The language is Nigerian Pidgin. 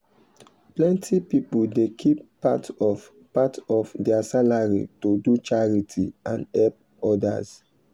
plenty people dey keep part of part of their salary to do charity and help others.